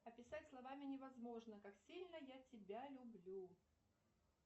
описать словами невозможно как сильно я тебя люблю